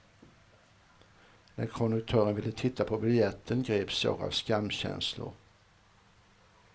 När konduktören ville titta på biljetten greps jag av skamkänslor.